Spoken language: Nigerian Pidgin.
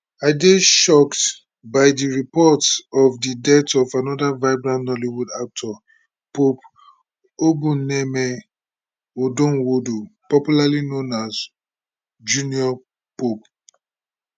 i dey shocked by di reports of di death of anoda vibrant nollywood actor pope obumneme odonwodo popularly known as junior pope